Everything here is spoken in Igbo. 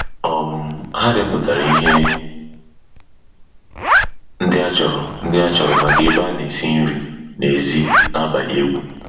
um Ha depụtara ihe ndị achọrọ ndị achọrọ maka ebe a na-esi nri n'èzí na abalị egwu.